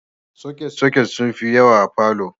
Soket-soket sun fi yawa a falo.